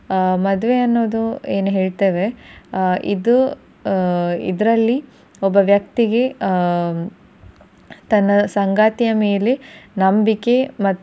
ಆ ಮದುವೆ ಅನ್ನೋದು ಏನ್ ಹೇಳತೆವೆ ಆ ಇದು ಆ ಇದ್ರಲ್ಲಿ ಒಬ್ಬ ವ್ಯಕ್ತಿಗೆ ಆ ತನ್ನ ಸಂಗಾತಿಯ ಮೇಲೆ ನಂಬಿಕೆ ಮತ್ತು